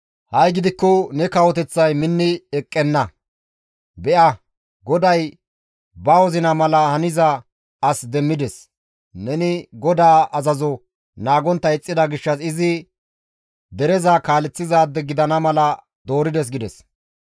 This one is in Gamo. Ha7i gidikko ne kawoteththay minni eqqenna; be7a GODAY ba wozina mala haniza as demmides; neni GODAA azazo naagontta ixxida gishshas izi dereza kaaleththizaade gidana mala doorides» gides.